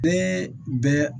Bɛɛ bɛ